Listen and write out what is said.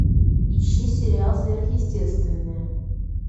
ищи сериал сверхъестественное